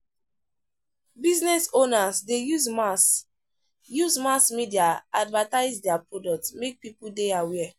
Business owners dey use mass use mass media advertis dier product mey pipo dey aware